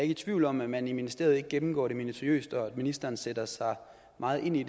i tvivl om at man i ministeriet gennemgår det minutiøst og at ministeren sætter sig meget ind i